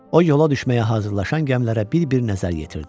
O, yola düşməyə hazırlaşan gəmilərə bir-bir nəzər yetirdi.